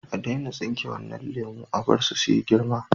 A daina tsinke wadannan lemu, a bar su su yi girma.